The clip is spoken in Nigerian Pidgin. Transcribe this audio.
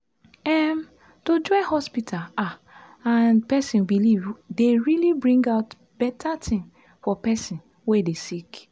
em- to join hospita ah and pesin belief dey really bring out beta tin for pesin wey dey sick